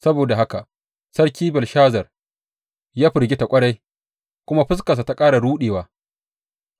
Saboda haka Sarki Belshazar ya firgita ƙwarai kuma fuskarsa ta ƙara ruɗewa.